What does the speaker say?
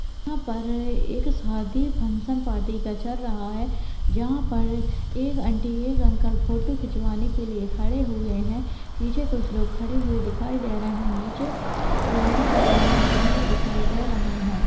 यहाँ पर एक शादी फंक्शन पार्टी का चल रहा है जहाँ पर एक आंटी एक अंकल फोटू खिचवाने के लिए खड़े हुए है पीछे कुछ लोग खड़े हुए दिखाई दे रहे है नीचे लाइट जली हुई कैमरा दिखाई दे रहे है।